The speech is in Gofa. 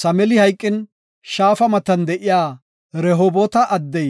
Samili hayqin, shaafa matan de7iya Rehoboota addey